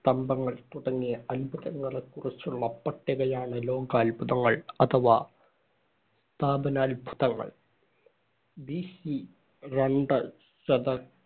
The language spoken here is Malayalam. സ്തംഭങ്ങൾ തുടങ്ങിയ അത്ഭുതങ്ങളെക്കുറിച്ചുള്ള പട്ടികയാണ് ലോകാത്ഭുതങ്ങൾ അഥവാ സ്ഥാപനാത്ഭുതങ്ങള്‍. BC രണ്ട് ശത~